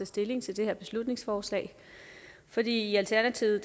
stilling til det her beslutningsforslag for i alternativet